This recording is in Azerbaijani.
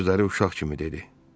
son sözləri uşaq kimi dedi.